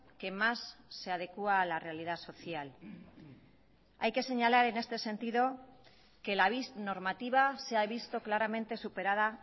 que más se adecua a la realidad social hay que señalar en este sentido que la bis normativa se ha visto claramente superada